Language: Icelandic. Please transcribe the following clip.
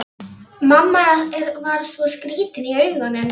Mamma var svo skrýtin í augunum.